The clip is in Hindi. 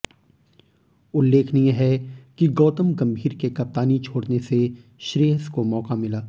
उल्लेखनीय है कि गौतम गंभीर के कप्तानी छोडऩे से श्रेयस को मौका मिला